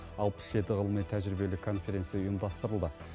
алпыс жеті ғылыми тәжірибелік конференция ұйымдастырылды